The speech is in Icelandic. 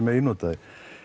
megi nota þær